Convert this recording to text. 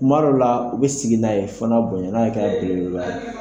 Kumadow la u bɛ sigi n'a ye fana bony'a kɛ belebeleba ye.